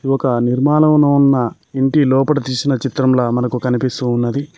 ఒక నిర్మాణంనో ఉన్న ఇంటి లోపట తీసిన చిత్రంలా మనకు కనిపిస్తూ ఉన్నది.